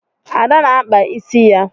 Ada na-akpa ịsị ya